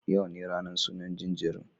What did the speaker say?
Yau ne ranan sunan jinjirin